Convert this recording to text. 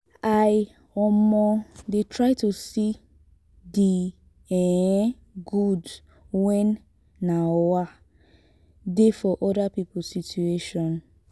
i um dey try to see di um good wey um dey for oda pipo situation.